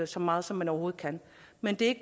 så meget som man overhovedet kan men det